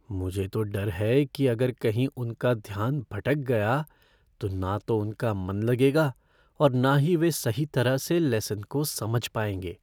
मुझे तो डर है कि अगर कहीं उनका ध्यान भटक गया, तो ना तो उनका मन लगेगा और ना ही वे सही तरह से लेसन को समझ पाएंगे।